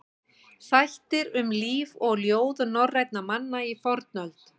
Þættir um líf og ljóð norrænna manna í fornöld.